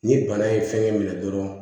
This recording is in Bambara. Ni bana ye fɛn minɛ dɔrɔn